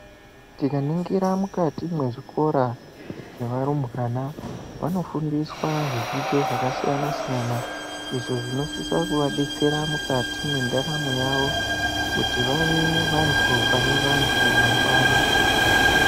Tikaningira mukati mwezvikora zvevarumbwana vanofundiswa zvidzidzo zvakasiyana siyana. Izvo zvinosisa kuvadetsera mukati mwendaramo yawo kuti vave vanthu pane vanthu mangwani.